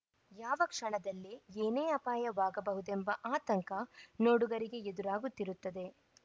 ಯಾವ ಕ್ಷಣದಲ್ಲೇ ಏನೇ ಅಪಾಯವಾಗಬಹುದೆಂಬ ಆತಂಕ ನೋಡುಗರಿಗೆ ಎದುರಾಗುತ್ತಿರುತ್ತದೆ